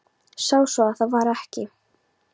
Sá svo að það var ekki.